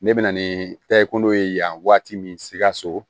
Ne bɛ na ni tayi ko ye yan waati min sikaso